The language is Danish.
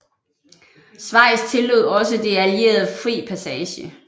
Schweiz tillod også de allierede fri passage